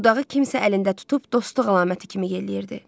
Budağı kimsə əlində tutub dostluq əlaməti kimi yelləyirdi.